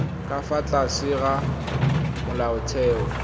ka fa tlase ga molaotheo